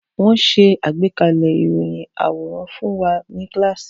Wọ́n ṣe àgbékalẹ̀ iṣẹ́ ìròyìn àwòrán fún wa ní kíláàsì